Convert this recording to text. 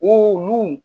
O n'u